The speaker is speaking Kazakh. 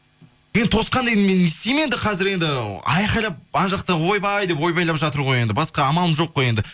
енді тосқанда енді мен не істеймін енді қазір енді айқайлап ана жақта ойбай деп ойбайлап жатыр ғой енді басқа амалым жоқ қой енді